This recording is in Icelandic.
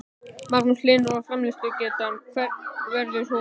Magnús Hlynur: Og framleiðslugetan hver verður hún?